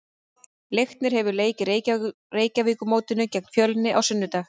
Leiknir hefur leik á Reykjavíkurmótinu gegn Fjölni á sunnudag.